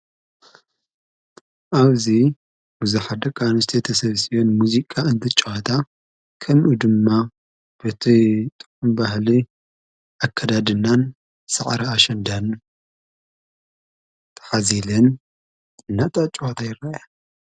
ኣብዙይ ብዛሕደቃንስቲ ተሰብሲበን ሙዚቃ እንቲ ጭዋታ ከምኡ ድማ በቶይ ጦምባህሊ ኣከዳድናን ሠዕር ኣሽንዳን ተኃዚልን ናጣ ኣጭዋታ ይረከባ።